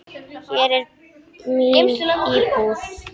Hér er mín íbúð!